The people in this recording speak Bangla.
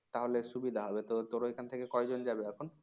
তাহলে সুবিধা হবে তো তোর ঐখান থেকে কয়জন যাবে এখন